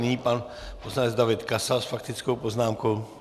Nyní pan poslanec David Kasal s faktickou poznámkou.